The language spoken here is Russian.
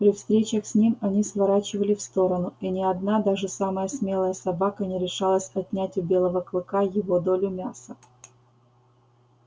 при встречах с ним они сворачивали в сторону и ни одна даже самая смелая собака не решалась отнять у белого клыка его долю мяса